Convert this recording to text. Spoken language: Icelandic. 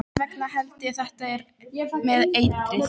Þess vegna held ég þetta með eitrið.